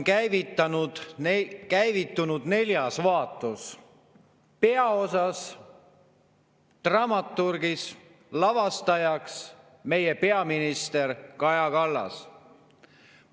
Poliitteatris on käivitunud neljas vaatus, peaosas, dramaturgiks, lavastajaks meie peaminister Kaja Kallas.